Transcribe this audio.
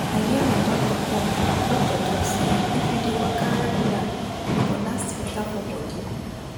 i hear my doctor talk doctor talk say if you dey waka regular you go last betta for bodi